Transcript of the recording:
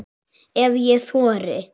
Ef ég þori.